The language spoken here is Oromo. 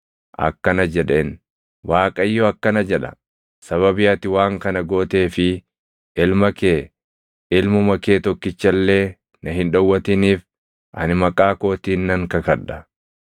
akkana jedheen; “ Waaqayyo akkana jedha; sababii ati waan kana gootee fi ilma kee, ilmuma kee tokkicha illee na hin dhowwatiniif ani maqaa kootiin nan kakadha;